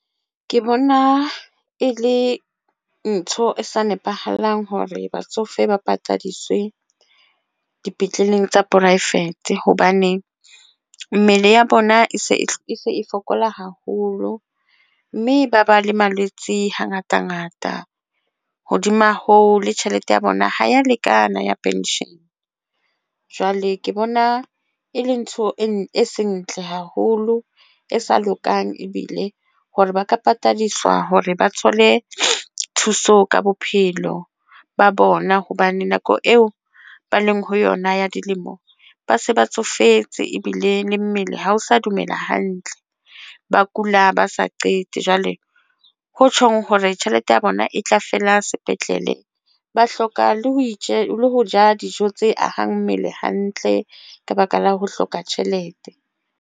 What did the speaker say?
Ke bona e le ntho e sa nepahalang hore batsofe ba patadiswe dipetleleng tsa poraefete hobane mmele ya bona e se e fokola haholo mme ba ba le malwetse. Ha ngata ngata hodima ho le tjhelete ya bona ha ya lekana ya pension jwale ke bona e le ntho e ntle haholo e sa lokang ebile hore ba ka patadiswa hore ba thole thuso ka bophelo ba bona hobane nako eo ba leng ho yona ya dilemo ba se ba tsofetse ebile le mmele. Ha ho sa dumela hantle, ba kula ba sa qete jwale ho tjhong hore tjhelete ya bona e tla fela sepetlele, ba hloka le ho itje, ho ja dijo tse ahang mmele hantle ka baka la ho hloka tjhelete.